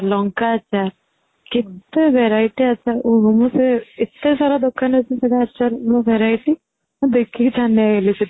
ଲଙ୍କା ଆଚାର କେତେ variety ଆଚାର ଓହୋ ମୁଁ ସେ ଏତେ ସାରା ଦୋକାନ ଅଛି ସେଇଟେ ଆଚାର୍ ମୁଁ variety ମୁଁ ଦେଖି କି ଛାନିଆ ହେଇ ଗଲି ସେଠି